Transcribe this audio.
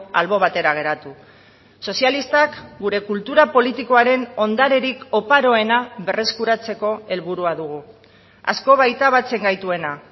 albo batera geratu sozialistak gure kultura politikoaren ondarerik oparoena berreskuratzeko helburua dugu asko baita batzen gaituena